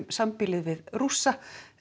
nábýlið við Rússa